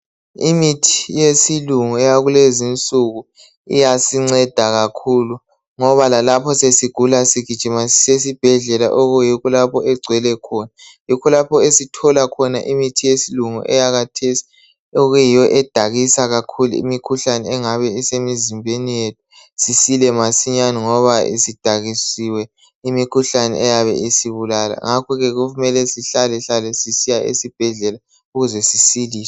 Imithi yesilungu eyakulezinsuku iyasinceda kakhulu ngoba lalapho sesigula sigijima sisiya esibhedlela okuyikho lapho egcwele khona. Yikho lapho esithola khona imithi yesilungu eyakhathesi okuyiyo edakisa kakhulu imikhuhlane engabe isemizimbeni sisile masinyane ngoba isidakiwisiwe imikhuhlane eyabe isibulala. Ngakho ke kumele sihlalahlale siyezibhedlela ukuze sisiliswe.